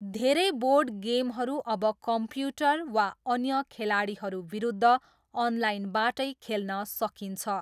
धेरै बोर्ड गेमहरू अब कम्प्युटर वा अन्य खेलाडीहरूविरुद्ध अनलाइनबाटै खेल्न सकिन्छ।